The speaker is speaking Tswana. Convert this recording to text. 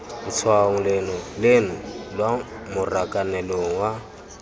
letshwaong leno lwa marakanelong a